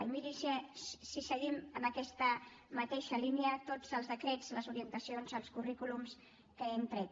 i miri si seguim en aquest mateixa línia tots els decrets les orientacions els currículums que hem tret